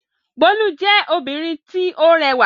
Bólú jẹ́ obìnrin tí ó rẹwà.